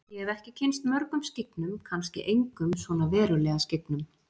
Ég hef ekki kynnst mörgum skyggnum, kannski engum svona verulega skyggnum.